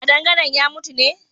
Kadangaren ya mutu ne?